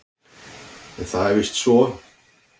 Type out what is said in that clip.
En það er víst svo.